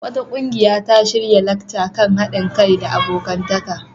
Wata ƙungiya ta shirya lacca kan haɗin kai da abokantaka.